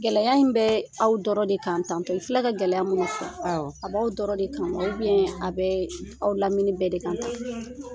Gɛlɛya in bɛ aw dɔrɔn de kan tan tɔ, i filɛ ka gɛlɛya munnu fɔ, a b'aw dɔrɔn de kan wa a bɛ aw lamini bɛɛ de kan tan ?